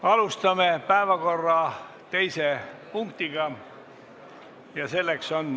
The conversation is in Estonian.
Alustame päevakorra teise punkti menetlemist.